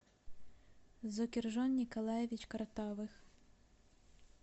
зокиржон николаевич картавых